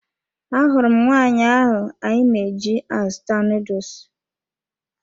Ahụrụ m nwaanyị ahụ anyị na-eji azụta nuduls